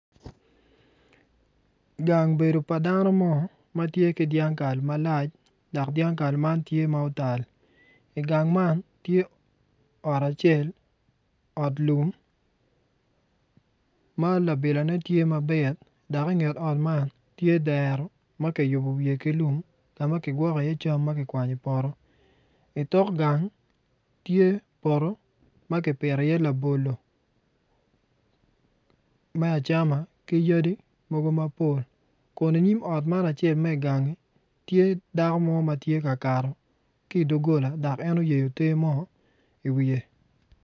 Gang bedo pa dano mo ma tye ki dyangkal malac dok dyangkal tye ma otal i gang man tye ot cael ot lum ma labilane tye ma pit dok inget ot man tye dero ma ki yubu wiye ki lum ma ki gwokko iye cam ma kigwok iye cam ma kiwanyo i poto i tok gany tye poto ma ki pito iye labolo me acama ki yadi mogo mapol kun iyim ot man acel me ganggi tye dako mo ma tye ka kato ki idog gola dom en oyeyo tee mo iwiye